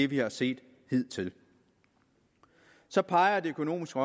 vi har set hidtil så peger det økonomiske